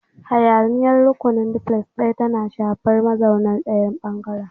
Hayaniya a rukunin Duplex ɗaya tana shafar mazauna ɗayan ɓangaren.